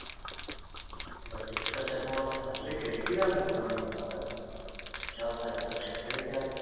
but எக்கச்சக்கமா salary கிடைக்குதுன்ற காரணத்தினால ஒரு job satisfaction கிடைக்காது